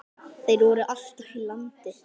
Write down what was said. Þeir voru alltaf í landi.